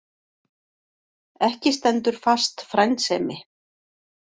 Ekki stendur fast frændsemi.